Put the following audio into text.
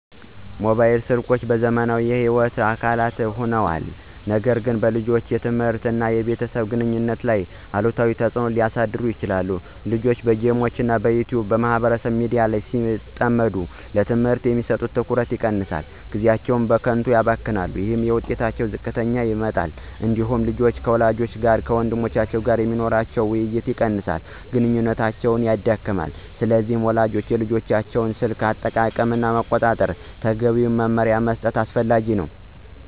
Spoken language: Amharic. ሞባይል ስልኮች በዘመናችን የሕይወት አካል ሆነዋል፣ ነገር ግን በልጆች የትምህርት እና በቤተሰብ ግንኙነት ላይ አሉታዊ ተጽዕኖ ሊያሳድሩ ይችላሉ። ልጆች በጌሞች፣ በYouTube እና በማህበራዊ ሚዲያ ሲጠመዱ ለትምህርታቸው የሚሰጡት ትኩረት ይቀንሳል፣ ጊዜያቸውም በከንቱ ይባክናል። ይህ የውጤታቸውን ዝቅተኛነት ያመጣል። እንዲሁም ልጆች ከወላጆቻቸው እና ከወንድሞቻቸው ጋር የሚኖራቸው ውይይት ይቀንሳል፣ ግንኙነታቸውም ይደክማል። ስለዚህ ወላጆች የልጆቻቸውን የስልክ አጠቃቀም መቆጣጠር እና ተገቢ መመሪያ መስጠት አስፈላጊ ነው።